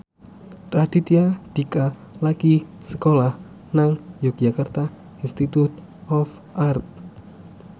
Raditya Dika lagi sekolah nang Yogyakarta Institute of Art